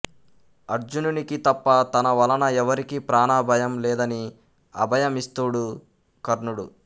అర్జునునికి తప్ప తన వలన ఎవరికీ ప్రాణభయం లేదని అభయమిస్తూడు కర్ణుడు